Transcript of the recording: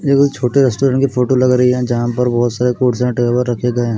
ये कोई छोटे रेस्टोरेंट की फोटो लग रही है जहां पर बहोत सारे कोट्स और टॉवेल रखे गये हैं।